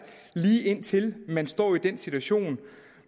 lige indtil man står i den situation